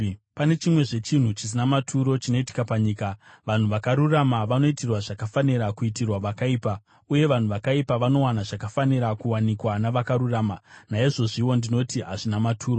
Pane chimwezve chinhu chisina maturo chinoitika panyika: Vanhu vakarurama vanoitirwa zvakafanira kuitirwa vakaipa, uye vanhu vakaipa vanowana zvakafanira kuwanikwa navakarurama. Naizvozviwo ndinoti hazvina maturo.